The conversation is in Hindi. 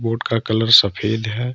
बोर्ड का कलर सफेद है।